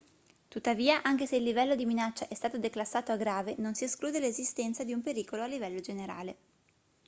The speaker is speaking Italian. tuttavia anche se il livello di minaccia è stato declassato a grave non si esclude l'esistenza di un pericolo a livello generale